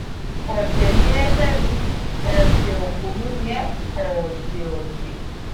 òde ni ẹ fẹmi òde òpònú ni ẹ òde ọdẹ